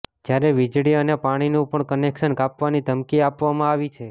જ્યારે વિજળી અને પાણીનું પણ કનેક્શન કાપવાની ધમકી આપવામાં આવી છે